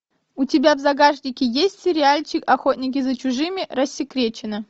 у тебя в загашнике есть сериальчик охотники за чужими рассекречено